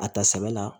A ta sɛbɛ la